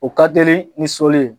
O ka teli ni sɔli ye.